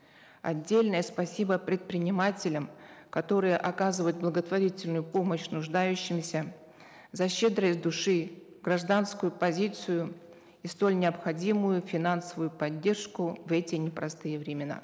отдельное спасибо предпринимателям которые оказывают благотворительную помощь нуждающимся за щедрость души гражданскую позицию и столь необходимую финансовую поддержку в эти непростые времена